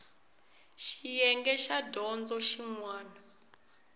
xiyenge xa dyondzo xin wana